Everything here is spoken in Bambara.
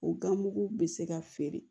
O gan mugu bɛ se ka feere